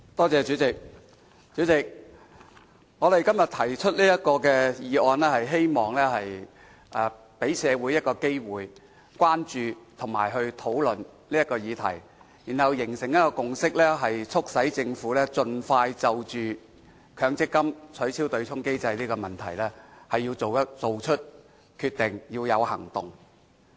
主席，我今天提出這項議案，是希望給社會一個機會關注和討論這個議題，然後形成共識，促使政府盡快就取消強制性公積金對沖機制這問題作出決定和有所行動。